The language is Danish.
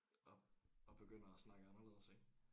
Og og begynder at snakke anderledes ik